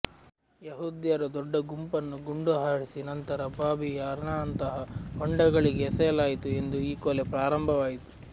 ಯಹೂದ್ಯರ ದೊಡ್ಡ ಗುಂಪನ್ನು ಗುಂಡುಹಾರಿಸಿ ನಂತರ ಬಾಬಿ ಯಾರ್ನಂತಹ ಹೊಂಡಗಳಿಗೆ ಎಸೆಯಲಾಯಿತು ಎಂದು ಈ ಕೊಲೆ ಪ್ರಾರಂಭವಾಯಿತು